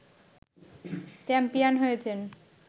champion হয়েছেন